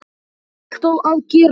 Ég þarf alltaf að gera það.